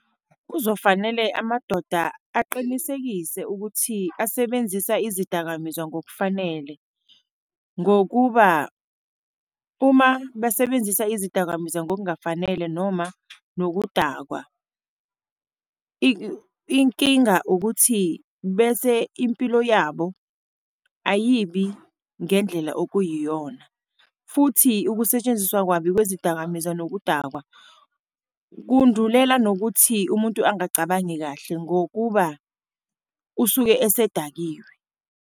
Kuzofanele amadoda aqinisekise ukuthi asebenzise izidakamizwa ngokufanele, ngokuba uma basebenzisa izidakamizwa ngokungafanele noma nokudakwa, inkinga ukuthi bese impilo yabo ayibi ngendlela okuyiyona, futhi ukusetshenziswa kabi kwezidakamizwa nokudakwa, kundulela nokuthi umuntu angacabangi kahle, ngokuba usuke esedakiwe.